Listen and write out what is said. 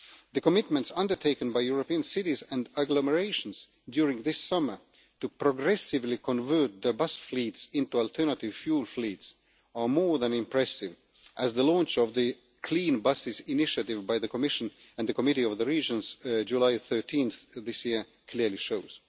The commitments undertaken by European cities and agglomerations during this summer to progressively convert their bus fleets into alternative fuel fleets are more than impressive, as the launch of the Clean Bus Deployment Initiative by the Commission and the Committee of the Regions on 13 July this year clearly shows.